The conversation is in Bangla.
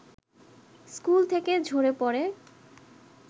স্কুল থেকে ঝরে পড়ে